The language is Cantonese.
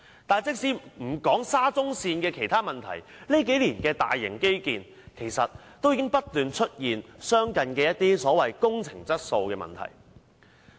但是，即使不談沙中線的其他問題，這數年的大型基建已不斷出現相似的工程質素問題。